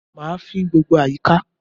Mà á fín gbogbo àyíká